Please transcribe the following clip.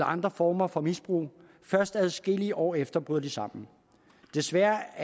andre former for misbrug først adskillige år efter bryder de sammen desværre